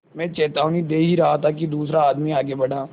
मैं चेतावनी दे ही रहा था कि दूसरा आदमी आगे बढ़ा